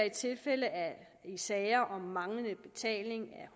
i sager om manglende betaling af